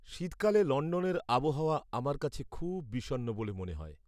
শীতকালে লণ্ডনের আবহাওয়া আমার কাছে খুব বিষণ্ণ বলে মনে হয়।